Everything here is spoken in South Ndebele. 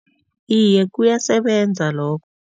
Iye, kuyasebenza lokho.